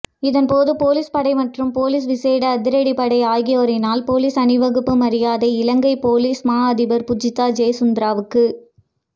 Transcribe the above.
இதன் போதுபொலிஸ் படைமற்றும் பொலிஸ் விஷேட அதிரடிப்படைஆகியோரினால் பொலிஸ் அணிவகுப்புமாரியாதை இலங்கைப் பொலிஸ் மாஅதிபர் பூஜித ஜெயசுந்தரவுக்கு